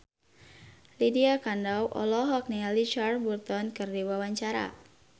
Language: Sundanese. Lydia Kandou olohok ningali Richard Burton keur diwawancara